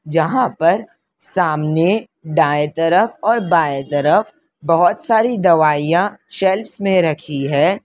जहां पर सामने दाएं तरफ और बाएं तरफ बहुत सारी दवाइयां शेल्फ्स में रखी है।